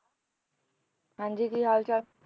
ਹਾਂਜੀ ਕੀ ਹਾਲ ਚਾਲ?